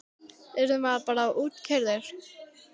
Yrði maður bara útkeyrður?